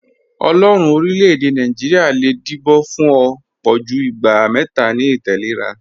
Ọlọ́ọ̀run orílẹ̀-èdè Naijiria le díbọ̀ fún ọ̀ pọ̀jú ìgbà mẹta ni ìtẹ̀lẹ́ra